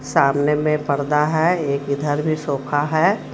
सामने में पर्दा है एक इधर भी सोफा है.